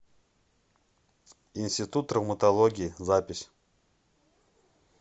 институт травматологии запись